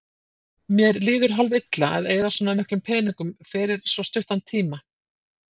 Mér líður hálf-illa að eyða svona miklum peningum fyrir svo stuttan tíma.